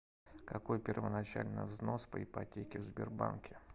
какой первоначальный взнос по ипотеке в сбербанке